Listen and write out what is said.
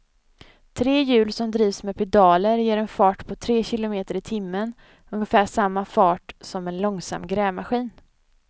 Tre hjul som drivs med pedaler ger en fart på tre kilometer i timmen, ungefär samma fart som en långsam grävmaskin.